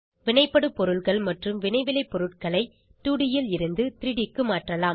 வினைபடுபொருள்கள் மற்றும் வினைவிளைப்பொருள்களை 2ட் ல் இருந்து 3ட் க்கு மாற்றலாம்